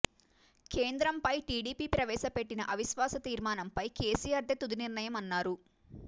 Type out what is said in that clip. కేంద్రంపై టీడీపీ ప్రవేశపెట్టిన అవిశ్వాస తీర్మానంపై కేసీఆర్దే తుది నిర్ణయం అన్నారు